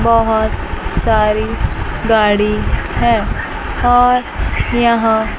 बहोत सारी गाड़ी है और यहां--